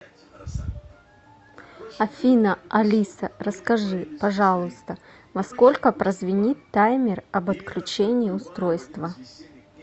афина алиса расскажи пожалуйста во сколько прозвенит таймер об отключении устройства